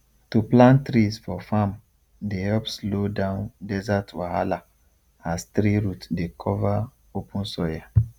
to plant trees for farm dey help slow down desert wahala as tree root dey cover open soil